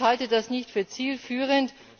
Ich halte das nicht für zielführend.